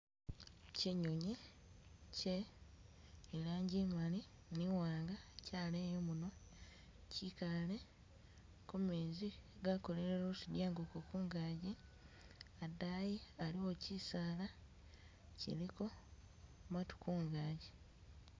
Chinyonyi che ilanji imaali ne iwanga chaleya imunwa chikaale kumeezi aga kola luzinyiankoko kungaji, adayi aliwo chisaala ichiliko maatu kungaji.